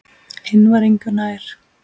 Hinn var engu nær.